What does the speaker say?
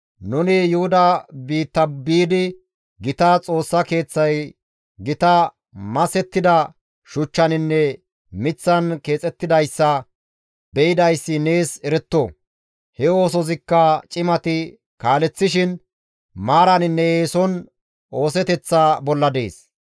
nuni Yuhuda biitta biidi gita Xoossa Keeththay gita masettida shuchchaninne miththan keexettidayssa be7idayssi nees eretto; he oosozikka cimati kaaleththishin maaraninne eeson ooseteththa bolla dees.